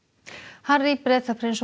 Harry Bretaprins og